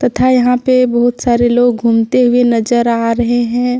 तथा यहां पे बहुत सारे लोग घूमते हुए नजर आ रहे हैं।